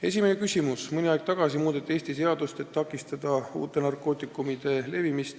Esimene küsimus: "Mõni aeg tagasi muudeti Eestis seadust, et takistada uute narkootikumide levimist.